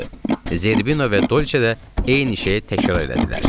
Zerbino və Dolçe də eyni şeyi təkrar elədilər.